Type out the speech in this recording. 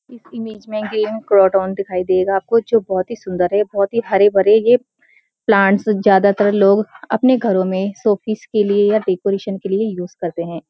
इस इमेज में दिखाई दे रहा है आपको जो बहुत ही सुन्‍दर है बहुत ही हरे-भरे ये प्लांट्स ज्‍यादातर लोग अपने घरो में शो पीस के लिए या के लिए यूज करते हैं।